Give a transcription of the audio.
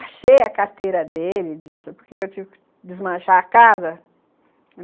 Achei a carteira dele disso, porque eu tive que desmanchar a casa.